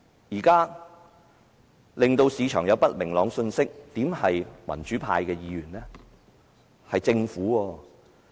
現在令市場有不明朗信息的不是民主派議員，而是政府。